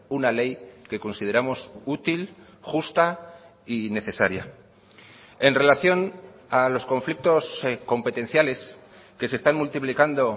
una ley que consideramos útil justa y necesaria en relación a los conflictos competenciales que se están multiplicando